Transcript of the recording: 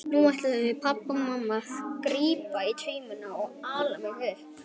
Nú ætluðu pabbi og mamma að grípa í taumana og ala mig upp.